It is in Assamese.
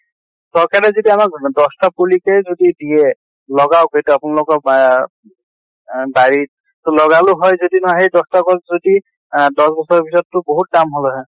চৰকাৰে যদি আমাক দশ টা পুলি তে যদি দিয়ে, লগাওঁক এইটো আপোনালোকক এহ আহ বাৰিত ত লগাল হয় যদি না সেই দশ টা গছ যদি আহ দশ বছৰৰ পিছত তো বহুত দাম হলে হয়।